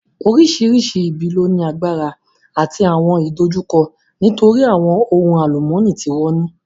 Oríṣiríṣi ibi ló ní agbára àti àwọn ìdojúkọ nítorí àwọn ohun àlùmọ́nì tí wọ́n ní